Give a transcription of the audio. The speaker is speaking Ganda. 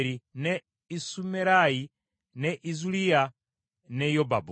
ne Isumerayi, ne Izuliya, ne Yobabu.